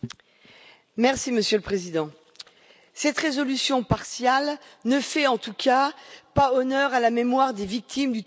Monsieur le Président, cette résolution partiale ne fait en tout cas pas honneur à la mémoire des victimes du totalitarisme.